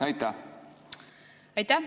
Aitäh!